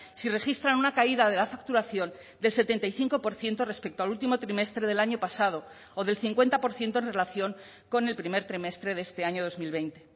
si registran una caída de la facturación del setenta y cinco por ciento respecto al último trimestre del año pasado o del cincuenta por ciento en relación con el primer trimestre de este año dos mil veinte